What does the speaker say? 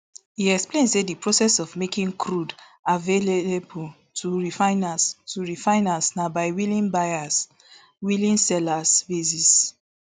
e explain say di process of making crude avaialable to refiners to refiners na by willing buyer willing seller basis